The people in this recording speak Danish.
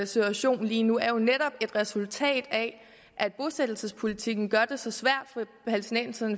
situation lige nu er jo netop et resultat af at bosættelsespolitikken gør det så svært